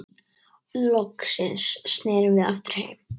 Loksins snerum við aftur heim.